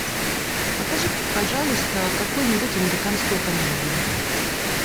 покажи пожалуйста какую нибудь американскую комедию